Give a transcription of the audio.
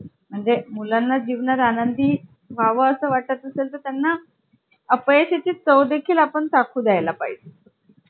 आणि तुम्हाला माहिती आहे का? laptop चा फुलफॉर्म काय आहे? L म्हणजे लाइट वेट, A म्हणजे ॲनॅलिटिकल, P म्हणजे प्लॅटफॉर्म, T म्हणजे टोटल